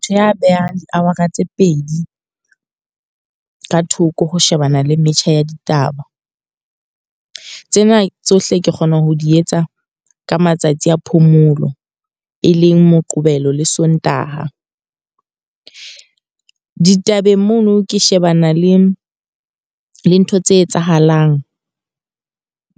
Motho ya behang di-hour-a tse pedi ka thoko ho shebana le metjha ya ditaba. Tsena tsohle ke kgona ho di etsa ka matsatsi a phomolo, e leng Moqebelo le Sontaha. Ditabeng mono ke shebana le le ntho tse etsahalang